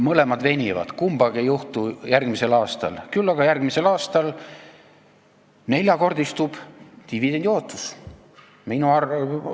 Mõlemad venivad, kumbagi ei juhtu järgmisel aastal, küll aga järgmisel aastal dividendiootus neljakordistub.